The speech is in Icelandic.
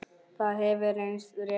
Það hefur reynst rétt.